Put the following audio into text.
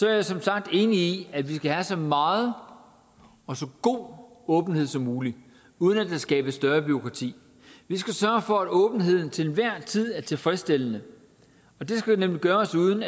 er jeg som sagt enig i at vi skal have så meget og så god åbenhed som muligt uden at der skabes større bureaukrati vi skal sørge for at åbenheden til enhver tid er tilfredsstillende og det skal gøres uden